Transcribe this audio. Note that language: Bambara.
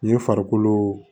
N ye farikolo